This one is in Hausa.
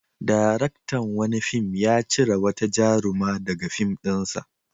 Daraktan wani fim ya cire wata jaruma daga fim ɗinsa.